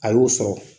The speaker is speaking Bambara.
A y'o sɔrɔ